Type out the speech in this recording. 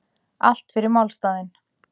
Allt fyrir málstaðinn